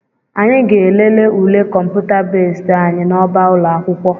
Anyị ga-elele ule kọmputa bezd anyị n'ọba ụlọ akwụkwọ